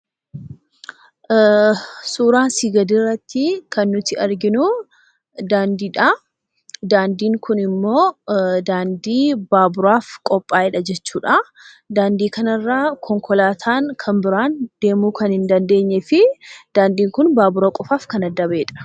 Suuraa asi gadirratti kan nuyi arginu daandiidha. daandiin kunimmo, daandii baaburaaf qopha'eedha jechuudha. Daandii kanarra konkolaataan kan biraan deemuu kan hin dandeenyee fi daandiin kun baabura qofaaf kan adda ba'edha.